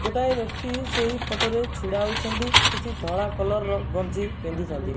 ଗୋଟାଏ ବ୍ୟକ୍ତି ସେହି ଫୋଟୋ ରେ ଛିଡ଼ା ହୋଇଛନ୍ତି କିଛି ଧଳା କଲର୍ ର ଗଞ୍ଜି ପିନ୍ଧିଛନ୍ତି।